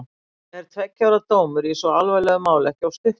Er tveggja ára dómur í svo alvarlegu máli ekki of stuttur?